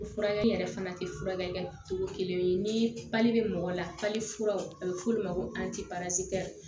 Furakɛli yɛrɛ fana tɛ furakɛ kɛ cogo kelen ni pali bɛ mɔgɔ la furaw a bɛ f'olu ma ko